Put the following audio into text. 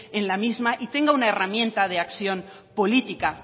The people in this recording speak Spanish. en la misma y tenga una herramienta de acción política